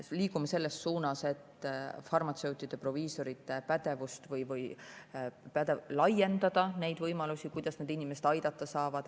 Liigume selles suunas, et laiendada farmatseutide-proviisorite pädevust ja võimalusi, kuidas nad inimesi aidata saavad.